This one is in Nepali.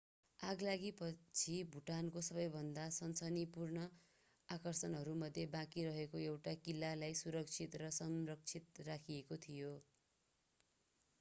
आगलागीपछि भुटानको सबैभन्दा सनसनीपूर्ण आकर्षणहरूमध्ये बाँकी रहेको एउटा किल्लालाई सुरक्षित र संरक्षित राखिएको थियो